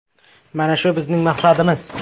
Mana shu bizning maqsadimiz.